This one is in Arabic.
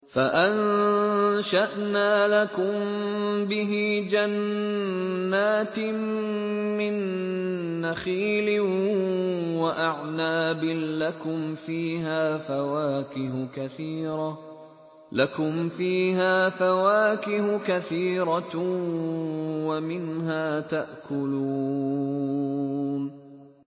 فَأَنشَأْنَا لَكُم بِهِ جَنَّاتٍ مِّن نَّخِيلٍ وَأَعْنَابٍ لَّكُمْ فِيهَا فَوَاكِهُ كَثِيرَةٌ وَمِنْهَا تَأْكُلُونَ